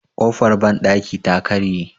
kofar bandaki ta karye